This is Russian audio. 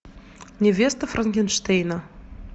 невеста франкенштейна